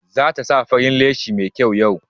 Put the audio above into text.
Za ta sa farin leshi mai kyau yau.